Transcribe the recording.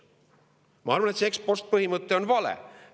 Ma arvan, et see ex-post-põhimõte on vale.